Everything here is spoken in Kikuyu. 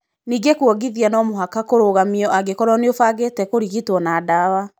Ningĩ kũongithia no mũhaka kũrũgamio angĩkorũo nĩ ũbangĩte kũrigitwo na ndawa.